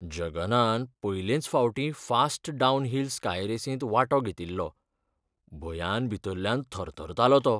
जगनान पयलेंच फावटीं fast downhill ski रेसींत वांटो घेतिल्लो, भंयान भितल्ल्यान थरथरतालो तो.